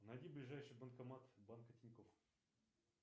найди ближайший банкомат банка тинькофф